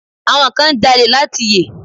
Àwọn kan ń jalè láti yè.